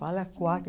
Fala quatro.